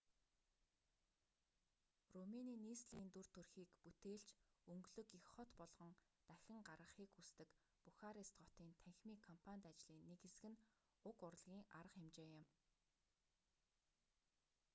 румыны нийслэлийн дүр төрхийг бүтээлч өнгөлөг их хот болгон дахин гаргахыг хүсдэг бухарест хотын танхимын кампанит ажлын нэг хэсэг нь уг урлагийн арга хэмжээ юм